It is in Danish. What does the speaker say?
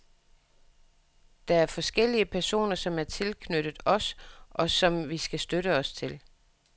Der er forskellige personer, som er tilknyttet os, og som vi kan støtte os til.